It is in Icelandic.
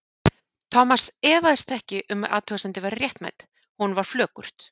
Thomas efaðist ekki um að athugasemdin væri réttmæt, honum var flökurt.